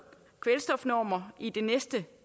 kvælstofnormer i det næste